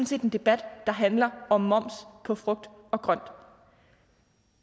set en debat der handler om moms på frugt og grønt